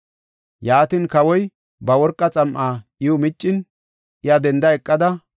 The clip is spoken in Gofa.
Yaatin, kawoy ba worqa xam7aa iw miccin, iya denda eqada,